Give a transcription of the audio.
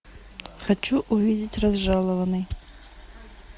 хочу увидеть разжалованный